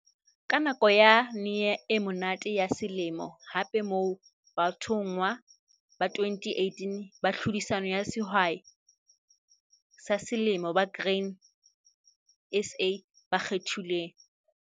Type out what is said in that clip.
Ke nako yane e monate ya selemo hape moo bathonngwa ba 2018 ba tlhodisano ya Sehwai sa Selemo ba Grain SA ba kgethilweng.